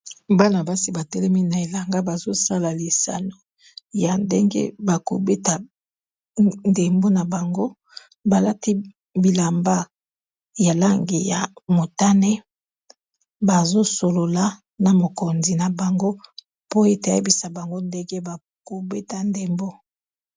Bana basi ba telemi na elanga bazo sala lisano ya ndenge bako beta ndembo na bango bal ati bilamba ya langi ya motane bazo solola na mokonzi na bango po ete a yebisa bango ndenge bako beta ndembo .